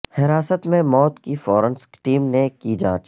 حراست میں موت کی فورنسک ٹیم نے کی جانچ